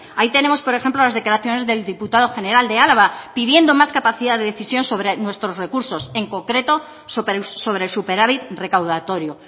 ahí tenemos por ejemplo las declaraciones del diputado general de álava pidiendo más capacidad de decisión sobre nuestros recursos en concreto sobre superávit recaudatorio